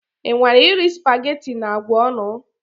Ị nwara iri spaghetti na agwa ọnụ?